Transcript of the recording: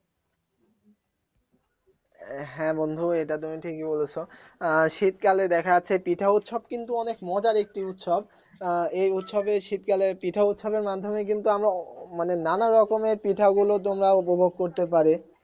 হ্যাঁ বন্ধু এটা তুমি ঠিক ই বলেছো আহ শীতকালে দেখা যাচ্ছে পিঠা উৎসব কিন্তু অনেক মজার একটি উৎসব এই উৎসবে শীতকালে পিঠা উৎসব এর মাধ্যমে কিন্তু আমরা মানে নানা রকমের পিঠাগুলো তোমরা উপভোগ করতে পারে